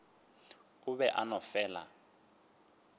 o be a no fela